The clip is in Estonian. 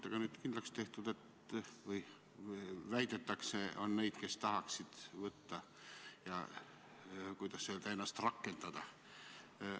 Nagu nüüd kindlaks on tehtud või väidetakse, 4% on uuringute põhjal neid, kes tahaksid tööampse teha ja, kuidas öelda, ennast rakendada.